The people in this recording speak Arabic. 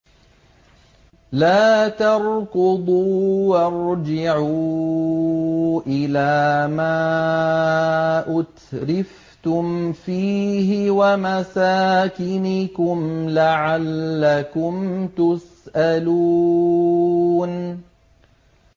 لَا تَرْكُضُوا وَارْجِعُوا إِلَىٰ مَا أُتْرِفْتُمْ فِيهِ وَمَسَاكِنِكُمْ لَعَلَّكُمْ تُسْأَلُونَ